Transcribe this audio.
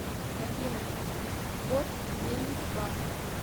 афина кот гейм ван